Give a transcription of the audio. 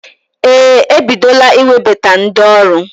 Ee, ebidola iwebata ndi ọrụ.